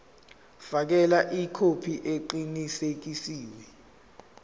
fakela ikhophi eqinisekisiwe